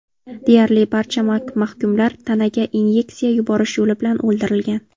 Deyarli barcha mahkumlar tanaga inyeksiya yuborish yo‘li bilan o‘ldirilgan.